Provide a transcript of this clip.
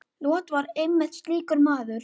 Lot var einmitt slíkur maður.